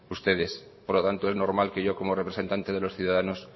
ustedes por lo tanto es normal que yo como representante de los ciudadanos